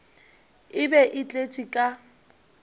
e be e tletše ka